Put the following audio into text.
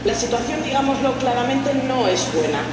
La situación, digámoslo claramente, no es buena.